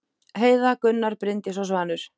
Heiða, Gunnar, Bryndís og Svanur.